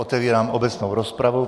Otevírám obecnou rozpravu.